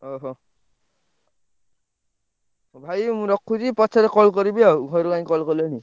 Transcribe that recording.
ଓହୋ! ଆଉ ଭାଇ ମୁଁ ରଖୁଛି ପଛରେ call କରିବି ଆଉ ଘରୁ କାଇଁ call କଲେଣି।